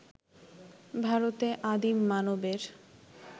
ভারতে আদিম মানবের